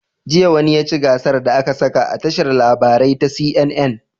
Jiya wane yaci gasar da aƙasa a tashar labarai ta CNN